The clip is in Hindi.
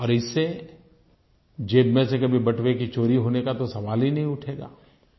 और इससे ज़ेब में से कभी बटुए की चोरी होने का तो सवाल ही नहीं उठेगा